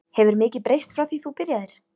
Hefur mikið breyst frá því þú byrjaðir?